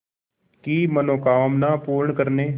की मनोकामना पूर्ण करने